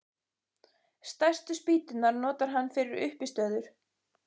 Stærstu spýturnar notar hann fyrir uppistöður.